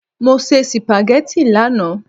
Mo se sìpàgẹ́tì lánàá.